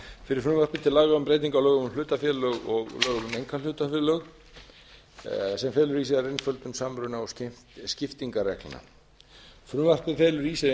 fyrir frumvarpi til laga um breytingu á lögum um hlutafélög og lögum um einkahlutafélög sem felur í sér einföldun samruna og skiptingarreglna frumvarpið felur í sér